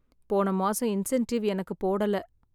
போன மாசம் இன்சென்டிவ் எனக்கு போடல.